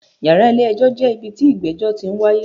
Yàrá ilé ẹjọ́ jẹ́ ibi tí ìgbẹ́jọ́ ti n wáyé.